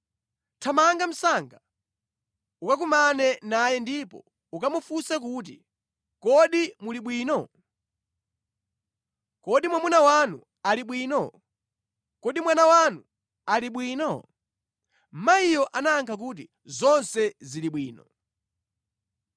Thamanga msanga ukakumane naye ndipo ukamufunse kuti, ‘Kodi muli bwino? Kodi mwamuna wanu ali bwino? Kodi mwana wanu ali bwino?’ ” Mayiyo anayankha kuti, “Zonse zili bwino.”